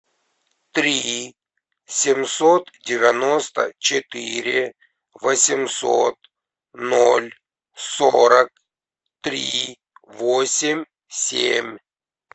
три семьсот девяносто четыре восемьсот ноль сорок три восемь семь